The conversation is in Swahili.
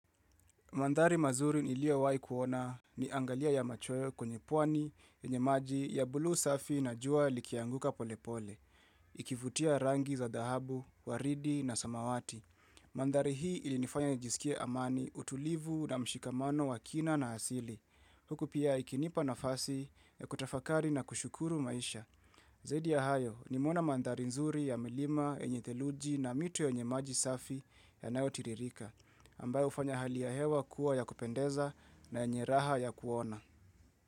Mandhari mazuri niliowai kuona ni angalia ya machoyo kwenye puani yenye maji ya buluu safi na jua likianguka pole pole. Ikivutia rangi za dhahabu, waridi na samawati. Mandhari hii ilinifanya nijisikie amani utulivu na mshikamano wa kina na hasili. Huku pia ikinipa nafasi ya kutafakari na kushukuru maisha. Zaidi ya hayo nimeona mandhari nzuri ya milima yenye theluji na mito yenye maji safi yanayotiririka. Ambayo ufanya hali ya hewa kuwa ya kupendeza na yenye raha ya kuona.